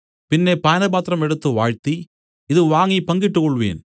പിന്നെ പാനപാത്രം എടുത്തു വാഴ്ത്തി ഇതു വാങ്ങി പങ്കിട്ടുകൊൾവിൻ